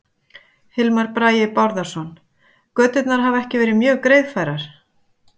Hilmar Bragi Bárðarson: Göturnar hafa ekki verið mjög greiðfærar?